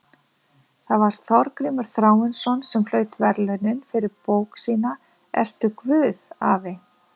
Það var Þorgrímur Þráinsson sem hlaut verðlaunin fyrir bók sína Ertu Guð, afi?